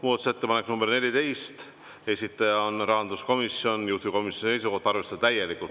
Muudatusettepanek nr 14, esitaja on rahanduskomisjon, juhtivkomisjoni seisukoht: arvestada täielikult.